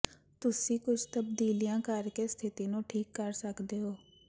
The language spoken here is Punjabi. ਤੁਸੀਂ ਕੁਝ ਤਬਦੀਲੀਆਂ ਕਰ ਕੇ ਸਥਿਤੀ ਨੂੰ ਠੀਕ ਕਰ ਸਕਦੇ ਹੋ